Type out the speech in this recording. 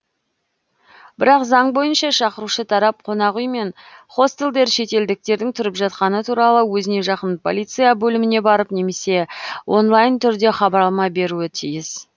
бірақ заң бойынша шақырушы тарап қонақүй мен хостелдер шетелдіктердің тұрып жатқаны туралы өзіне жақын полиция бөліміне барып немесе онлайн түрде хабарлама беруі тиіс